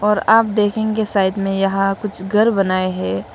और आप देखेंगे साइड में यहां कुछ घर बनाए हैं।